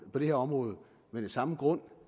på det her område men af samme grund